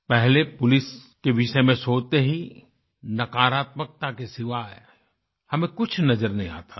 पहले पुलिस के विषय में सोचते ही नकारात्मकता के सिवाय हमें कुछ नज़र नहीं आता था